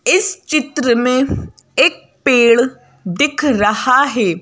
इस चित्र में एक पेड़ दिख रहा है।